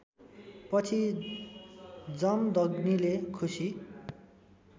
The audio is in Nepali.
पछि जमदग्नीले खुसी